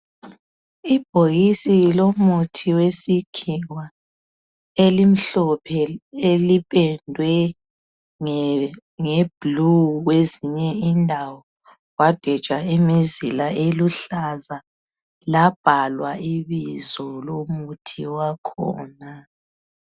Ibhokisi lomuthi wesikhiwa elimhlophe elipendwe ngeblue kwezinye indawo kwadwetshwa imizila eluhlaza labhalwa ibizo lomuthi wakhona.